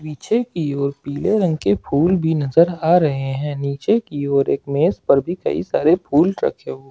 पीछे की ओर पीले रंग के फूल भी नजर आ रहे हैं नीचे की ओर एक मेज पर भी कई सारे फूल रखे हुए।